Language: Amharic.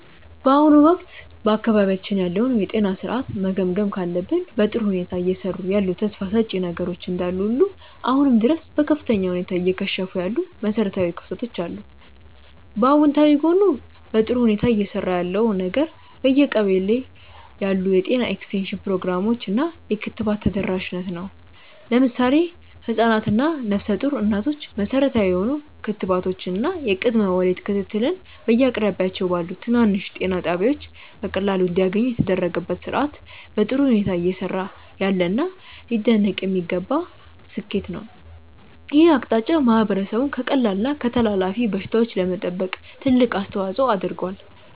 በአሁኑ ወቅት በአካባቢያችን ያለውን የጤና ሥርዓት መገምገም ካለብን፣ በጥሩ ሁኔታ እየሰሩ ያሉ ተስፋ ሰጪ ነገሮች እንዳሉ ሁሉ አሁንም ድረስ በከፍተኛ ሁኔታ እየከሸፉ ያሉ መሠረታዊ ክፍተቶች አሉ። በአዎንታዊ ጎኑ በጥሩ ሁኔታ እየሰራ ያለው ነገር በየቀበሌው ያሉ የጤና ኤክስቴንሽን ፕሮግራሞች እና የክትባት ተደራሽነት ነው። ለምሳሌ ህፃናት እና ነፍሰ ጡር እናቶች መሠረታዊ የሆኑ ክትባቶችን እና የቅድመ ወሊድ ክትትልን በየአቅራቢያቸው ባሉ ትናንሽ ጤና ጣቢያዎች በቀላሉ እንዲያገኙ የተደረገበት ሥርዓት በጥሩ ሁኔታ እየሰራ ያለና ሊደነቅ የሚገባው ስኬት ነው። ይህ አቅጣጫ ማህበረሰቡን ከቀላል እና ከተላላፊ በሽታዎች ለመጠበቅ ትልቅ አስተዋፅዖ አድርጓል።